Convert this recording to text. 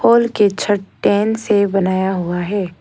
Wall के छत tin से बनाया हुआ है।